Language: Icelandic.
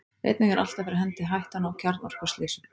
einnig er alltaf fyrir hendi hættan á kjarnorkuslysum